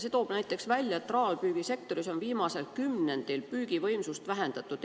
Näiteks tuuakse välja, et traalpüügil on viimasel kümnendil püügivõimsust vähendatud.